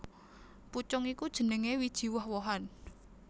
Pucung iku jenengé wiji woh wohan